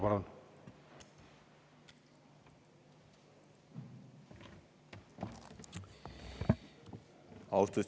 Palun!